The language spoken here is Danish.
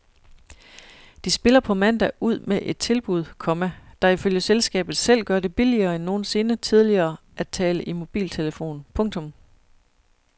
De spiller på mandag ud med et tilbud, komma der ifølge selskabet selv gør det billigere end nogensinde tidligere at tale i mobiltelefon. punktum